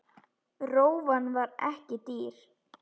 Rófan var ekki dýr.